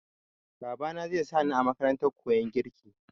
Babana zai sa ni a makarantar koyan girki.